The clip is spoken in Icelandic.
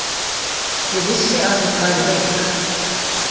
Ég vissi að hún væri veik.